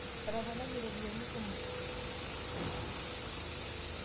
etoponayie irropiani kumok